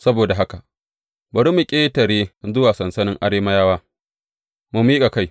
Saboda haka, bari mu ƙetare zuwa sansanin Arameyawa mu miƙa kai.